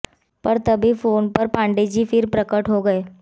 पर तभी फोन पर पांडे जी फिर प्रकट हो गए